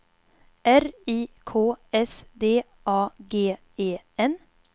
R I K S D A G E N